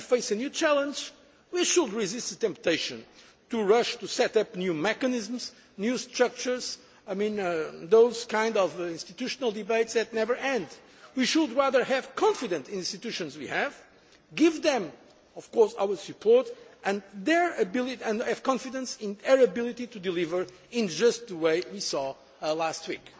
When we face a new challenge, we should resist the temptation to rush to set up new mechanisms, new structures, those kinds of institutional debates that never end. We should rather have confidence in the institutions we have, give them our support, and have confidence in our ability to deliver in just the way we saw last